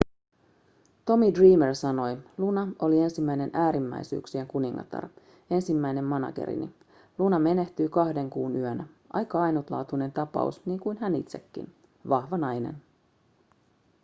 tommy dreamer sanoi luna oli ensimmäinen äärimmäisyyksien kuningatar ensimmäinen managerini luna menehtyi kahden kuun yönä aika ainutlaatuinen tapaus niin kuin hän itsekin vahva nainen